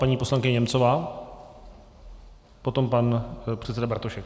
Paní poslankyně Němcová, potom pan předseda Bartošek.